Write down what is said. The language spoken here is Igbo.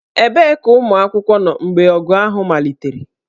Ebee ka ụmụ akwụkwọ nọ mgbe ọgụ ahụ malitere?